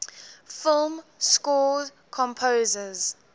film score composers